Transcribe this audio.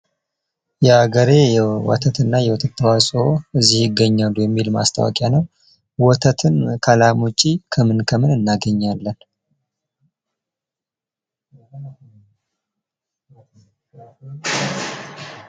የዓገሬ ወተት እና የወተት ተዋጽኦ እዚህ ይገኛሉ የሚል ማስታወቂያ ነው ። ወተትን ከላም ውጪ ከምን ከምን እናገኛለን?